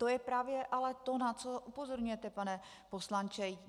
To je ale právě to, na co upozorňujete, pane poslanče.